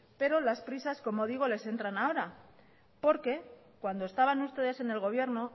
pero las prisas como digo les entran ahora porque cuando estaban ustedes en el gobierno